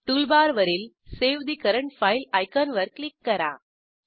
toolbar वरील save ठे current file आयकॉनवर क्लिक करा